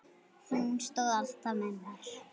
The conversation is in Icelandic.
Hún stóð alltaf með mér.